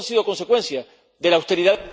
Todo esto ha sido consecuencia de la austeridad